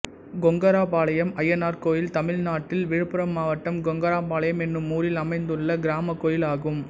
கொங்கராபாளையம் அய்யனார் கோயில் தமிழ்நாட்டில் விழுப்புரம் மாவட்டம் கொங்கராபாளையம் என்னும் ஊரில் அமைந்துள்ள கிராமக் கோயிலாகும்